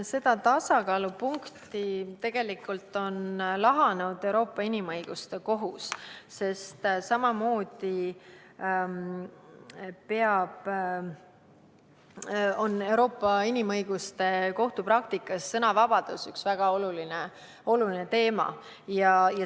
Seda tasakaalupunkti on tegelikult lahanud Euroopa Inimõiguste Kohus, mille praktikas on sõnavabadus väga oluline teema.